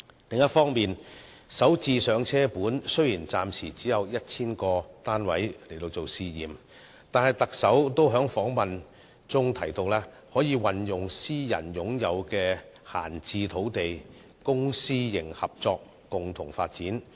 此外，雖然"港人首置上車盤"暫時只有 1,000 個作試驗的單位，但特首在接受訪問時也提到可運用私人擁有的閒置土地，由公私營合作共同發展。